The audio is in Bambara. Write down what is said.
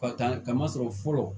Ka kan ka masɔrɔ fɔlɔ